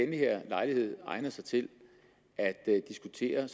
her lejlighed egner sig til at diskutere